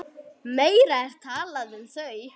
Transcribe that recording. Meira er talað um þau.